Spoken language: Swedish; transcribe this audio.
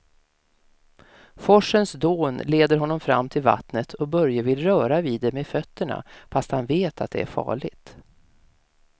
Forsens dån leder honom fram till vattnet och Börje vill röra vid det med fötterna, fast han vet att det är farligt.